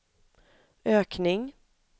ökning